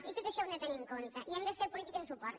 i tot això ho hem de tenir de compte i hem de fer polítiques de suport